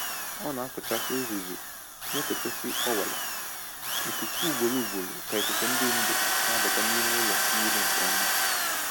Ọ na-akụchasị uzuzu na-ekochisi ọwara ikuku ugboro ugboro ka ikuku dị ndụ na-abata n’ime ụlọ niile nke Ọma.